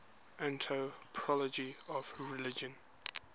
anthropology of religion